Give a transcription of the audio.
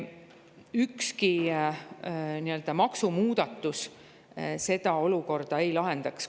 Ükski maksumuudatus seda olukorda ei lahendaks.